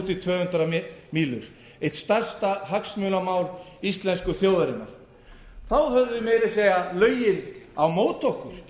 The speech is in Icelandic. í tvö hundruð mílur eitt stærsta hagsmunamál íslensku þjóðarinnar þá höfðum við meira að segja lögin á móti okkur